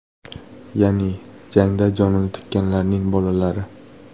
Ya’ni jangda jonini tikkanlarning bolalari.